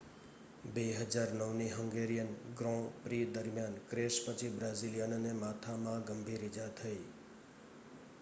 2009ની Hungarian grand prix દરમિયાન crash પછી બ્રાઝિલિયનને માથામાં ગંભીર ઈજા થઈ